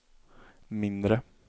mindre